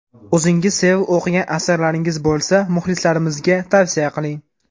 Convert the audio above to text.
O‘zingiz sevib o‘qigan asarlaringiz bo‘lsa, muxlislarimizga tavsiya qiling.